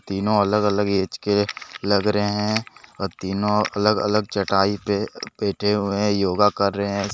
तीनों अलग-अलग एज के लग रहे हैं। और तीनों अलग अलग चटाई पे बैठे हुए हैं। योग कर रहे हैं। सा--